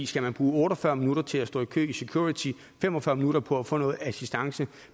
skal man bruge otte og fyrre minutter til at stå i kø i security og fem og fyrre minutter på at få noget assistance